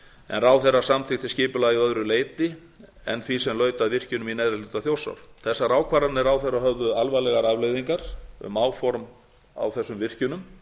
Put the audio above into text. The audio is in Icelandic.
en ráðherra samþykkti skipulagið að öðru leyti en því sem laut að virkjunum í neðri hluta þjórsár þessar ákvarðanir ráðherra höfðu alvarlegar afleiðingar um áform á þessum virkjunum